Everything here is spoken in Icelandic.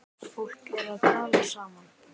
Fólk er að tala saman.